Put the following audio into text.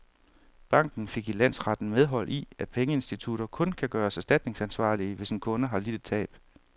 Banken fik i landsretten medhold i, at pengeinstitutter kun kan gøres erstatningsansvarlige, hvis en kunde har lidt et tab.